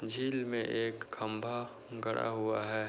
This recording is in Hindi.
झील मे एक खंभा गड़ा हुआ है।